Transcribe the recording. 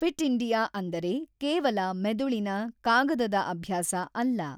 Fit India ಅಂದರೆ ಕೇವಲ ಮೆದುಳಿನ, ಕಾಗದದ ಅಭ್ಯಾಸ ಅಲ್ಲ.